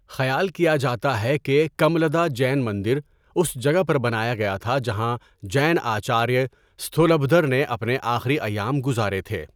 خیال کیا جاتا ہے کہ کملدہ جین مندر اس جگہ پر بنایا گیا تھا جہاں جین آچاریہ استھولبھدر نے اپنے آخری ایام گزارے تھے۔